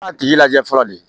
A tigi lajɛ fɔlɔ de